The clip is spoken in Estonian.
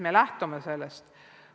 Me lähtume sellest.